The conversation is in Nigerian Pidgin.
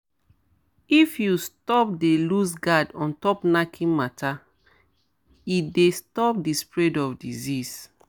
if you stop dey loose guard ontop knacking matter e dey stop di spread of disease